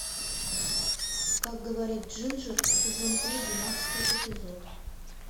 как говорит джинджер сезон три двенадцатый эпизод